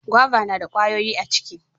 gwaba na da ƙwayoyi a ciki